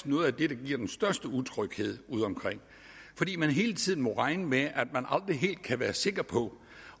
noget af det der giver den største utryghed udeomkring fordi man hele tiden må regne med at man aldrig helt kan være sikker på